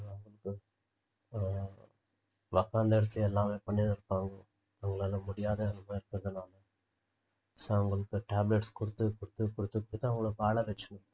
உக்காந்த இடத்துலயே எல்லாமே பண்ணினு இருப்பாங்க அவங்களால முடியாத so அவங்களுக்கு tablets குடுத்து குடுத்து குடுத்து குடுத்து அவங்களை வாழவச்சு~